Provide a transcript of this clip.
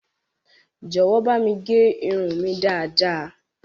Jọ̀wọ́ bámi gẹ irun mi dáadaa!